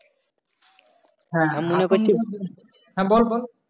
হ্যাঁ বল বল?